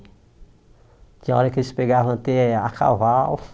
Tinha hora que eles pegavam até a cavalo.